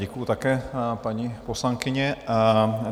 Děkuji také, paní poslankyně.